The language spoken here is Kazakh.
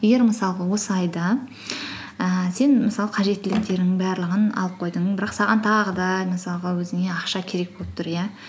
егер мысалға осы айда ііі сен мысалы қажеттіліктерінің барлығын алып қойдың бірақ саған тағы да мысалға өзіңе ақша керек болып тұр иә